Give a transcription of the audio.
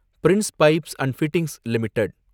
Prince Pipes and Fittings limited